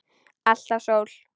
Alltaf sól.